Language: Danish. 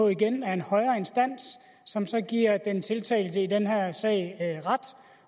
igen af en højere instans som så giver den tiltalte i den her sag ret